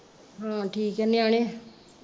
ਹਾਂ ਠੀਕ ਆ ਨਿਆਣੇ?